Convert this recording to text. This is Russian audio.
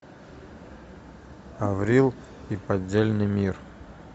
аврил и поддельный мир